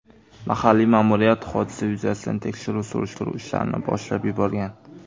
Mahalliy ma’muriyat hodisa yuzasidan tekshiruv-surishtiruv ishlarini boshlab yuborgan.